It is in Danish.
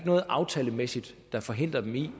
noget aftalemæssigt der forhindrer dem i